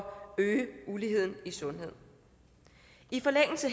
øge uligheden i sundhed i forlængelse